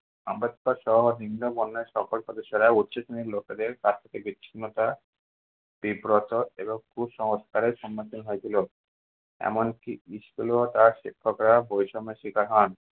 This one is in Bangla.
আম্বেদকর সহ নিন্মবর্ণের সকল সদস্যরা উচ্চ family র লোকেদের কাছ থেকে বিচ্ছিন্নতা এবং কুসংস্কারের সম্মুখীন হয়ে ছিল। এমনকি school এও তার শিক্ষকরা বৈষম্যের শিকার হন।